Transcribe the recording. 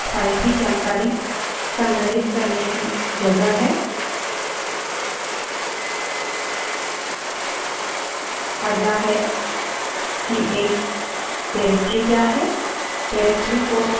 वास्तव में file वह है जहाँ हम अपने documents और papers संग्रहित करते हैं उसी प्रकार से एक लिनक्स file भी जानकारी को संग्रहित करने की जगह है